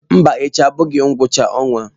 Mba echi abụghị ngwụcha ọnwa.